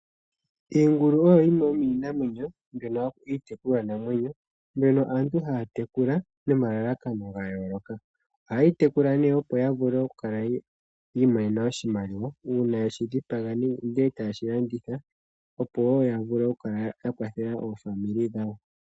Iingulu oyo yimwe yomiinamwenyo mbyono hayi ithanwa iitekulwanamwenyo, mbyono aantu haya tekula nomalalakano gayooloka. Ohayeyi tekula nee opo yavule okukala yi imonena oshimaliwa, uuna yeshidhipaga, e taye shi landitha opo yakale yakwathela aakwanezimo yawo.